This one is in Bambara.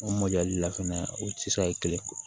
O mɔdɛli la fɛnɛ o tɛ se ka kɛ kelen